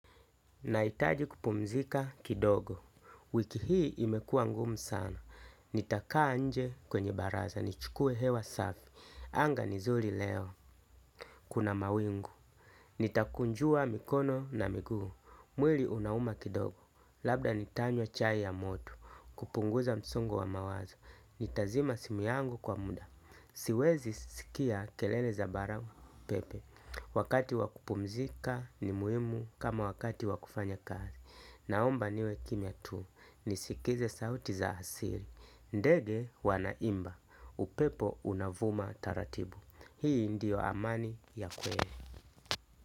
Nahitaji kupumzika kidogo, wiki hii imekua ngumu sana, nitakaa nje kwenye baraza, nichukue hewa safi, anga ni nzuri leo, kuna mawingu, nitakunjua mikono na miguu, mwili unauma kidogo, labda nitanywa chai ya moto, kupunguza msongo wa mawazo, nitazima simu yangu kwa muda. Siwezi sikia kelele za baridi au upepo. Wakati wa kupumzika ni muhimu kama wakati wa kufanya kazi. Naomba niwe kimya tu nisikize sauti za asili. Ndege wanaimba upepo unavuma taratibu. Hii ndiyo amani ya kweli.